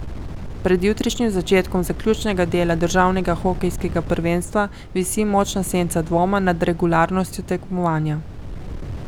Pred jutrišnjim začetkom zaključnega dela državnega hokejskega prvenstva visi močna senca dvoma nad regularnostjo tekmovanja.